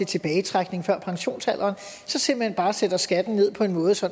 tilbagetrækning før pensionsalderen simpelt hen bare sætter skatten ned på en måde så